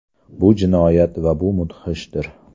Bu jinoyat va bu mudhishdir.